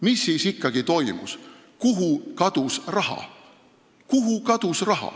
Mis siis ikkagi toimus: kuhu kadus raha?